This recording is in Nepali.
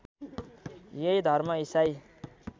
यही धर्म ईसाई